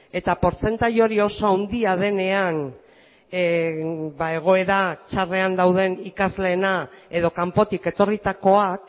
eta portzentai hori oso handia denean ba egoera txarrean dauden ikasleena edo kanpotik etorritakoak